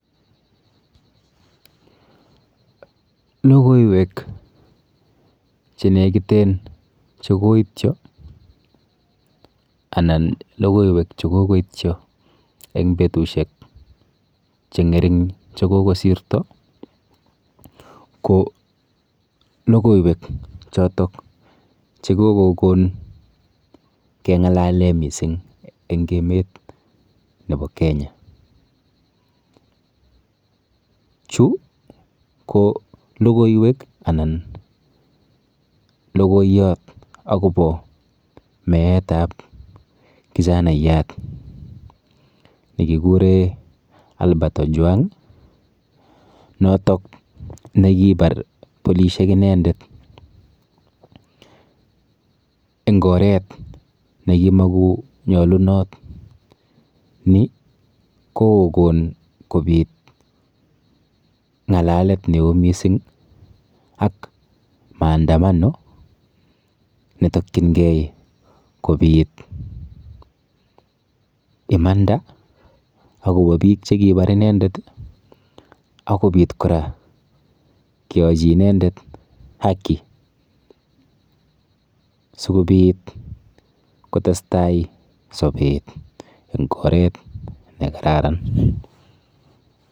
Logoiwek chenekiten chekoityo anan logoiwek chekoityo eng betushek cheng'ering chekokosirto ko logoiwek chotok chekokokon keng'alale mising eng emet nepo Kenya. Chu ko logoiwek anan logoiyot akopo meetap kijanaiyat nekikure Albert Ojwang notok nekipar bolishek inendet eng oret nekimakonyolunot. Ni kokokon kopit ng'alalet neo mising ak maandamano netokchingei kopit imanda akopo biik chekipar inendet akopit kora keyochi inendet haki sikobit kotestai sobet eng oret nekararan.